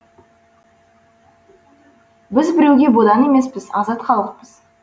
біз біреуге бодан емеспіз азат халықпыз